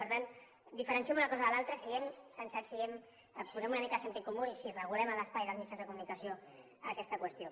per tant diferenciem una cosa de l’altra siguem sensats posem una mica de sentit comú i sí regulem en l’espai dels mitjans de comunicació aquesta qüestió